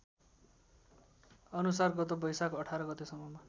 अनुसार गत वैशाख १८ गतेसम्ममा